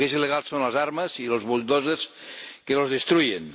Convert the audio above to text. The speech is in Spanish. lo que es ilegal son las armas y los bulldozers que los destruyen.